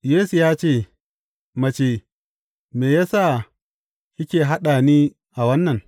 Yesu ya ce, Mace, me ya sa kike haɗa ni a wannan?